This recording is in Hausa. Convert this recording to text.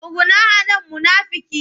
Tsuguna a nan munafika!